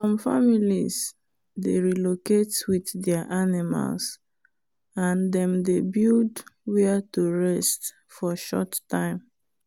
some families dey relocate with there animals and them dey build where to rest for short time.